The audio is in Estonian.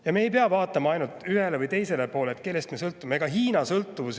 Ja me ei pea vaatama ainult ühele või teisele poole, kellest me sõltume.